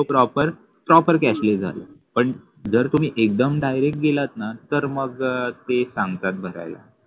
तो properproperproper cashless झाला पण जर तुम्ही एकदम direct गेलात न तर मग ते सांगतात भरायला